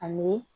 Ani